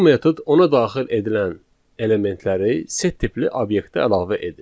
Bu metod ona daxil edilən elementləri set tipli obyektə əlavə edir.